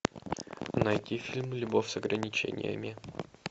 найти фильм любовь с ограничениями